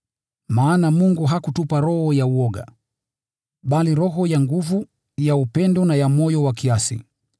Maana Mungu hakutupa roho ya woga, bali roho ya nguvu, ya upendo na ya moyo wa kiasi.